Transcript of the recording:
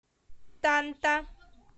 танта